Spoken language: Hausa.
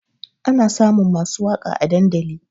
Ana samun masu waƙa a dandali